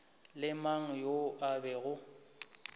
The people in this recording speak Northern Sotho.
le mang yo e bego